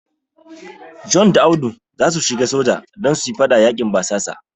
John da Audu zasu shiga soja don su yi fada yaƙin basasan.